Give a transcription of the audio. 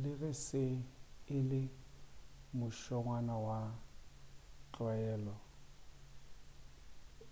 le ge se e le mošongwana wa tlwaelo